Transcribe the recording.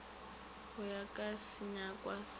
go ya ka senyakwa sa